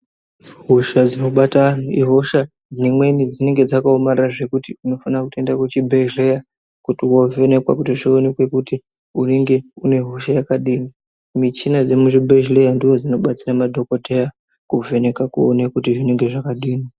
Hosha dzinobata vantu ihosha dzimweni dzinenge dzakaomarara zvekuti unofana kutoenda kuchibhedhleya kuti wovhenekwa kuti zvionekwe kuti unenge unehosha yakadini. Michina yemuzvibhedhlera ndoo dzinobetsera madhokoteya kuvheneka kuona kuti zvinenge zvakadini.